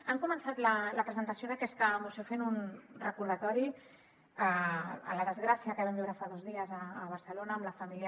han començat la presentació d’aquesta moció fent un recordatori a la desgràcia que vam viure fa dos dies a barcelona amb la família